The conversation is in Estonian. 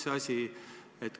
Mis asi?